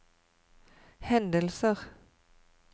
hendelser